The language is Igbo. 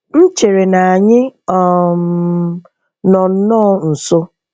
M chere na anyị um nọ nnọọ nso.